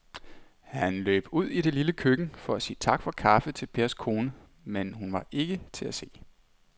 Han løb ud i det lille køkken for at sige tak for kaffe til Pers kone, men hun var ikke til at se.